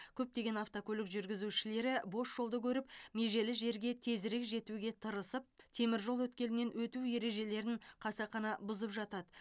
көптеген автокөлік жүргізушілері бос жолды көріп межелі жерге тезірек жетуге тырысып теміржол өткелінен өту ережелерін қасақана бұзып жатады